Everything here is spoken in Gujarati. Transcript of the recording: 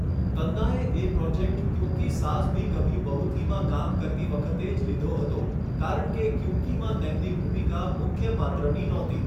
તન્નાએ એ પ્રોજેક્ટ 'ક્યૂંકી સાસ ભી કભી બહુ થી'માં કામ કરતી વખતે જ લીધો હતો કારણ કે 'ક્યૂંકી..' માં તેમની ભૂમિકા મુખ્ય પાત્રની નહોતી.